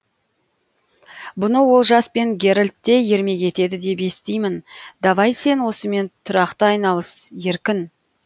бұны олжас пен герольд та ермек етеді деп естимін давай сен осымен тұрақты айналыс еркін